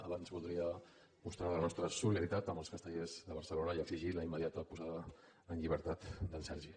abans voldria mostrar la nostra solidaritat amb els castellers de barcelona i exigir la immediata posada en llibertat d’en sergi